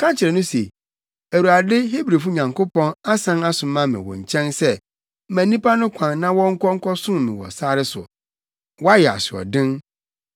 Ka kyerɛ no se, ‘ Awurade, Hebrifo Nyankopɔn asan asoma me wo nkyɛn sɛ ma nnipa no kwan na wɔnkɔ nkɔsom me wɔ sare so. Woayɛ asoɔden.